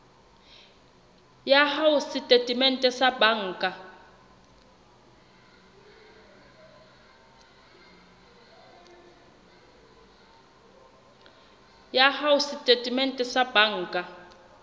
ya hao setatementeng sa banka